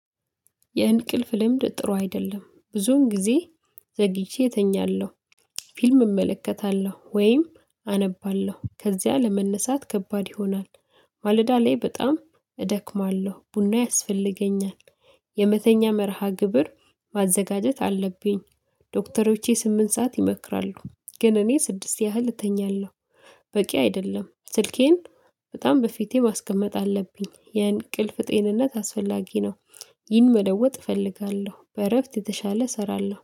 የእንቅልፍ ልምድ ጥሩ አይደለም ብዙን ጊዜ ዘግይቼ እተኛለሁ። ፊልም እመለከታለሁ ወይም አነባለሁ ከዚያ ለመነሳት ከባድ ይሆናል። ማለዳ ላይ በጣም እደክማለሁ ቡና ያስፈልገኛል። የመተኛ መርሃ ግብር ማዘጋጀት አለብኝ። ዶክተሮቼ ስምንት ሰዓት ይመክራሉ ግን እኔ ስድስት ያህል እተኛለሁ። በቂ አይደለም ስልኬን በጣም በፊቴ ማስቀመጥ አለብኝ የእንቅልፍ ጤንነት አስፈላጊ ነው። ይህን መለወጥ እፈልጋለሁ በእረፍት የተሻለ እሰራለሁ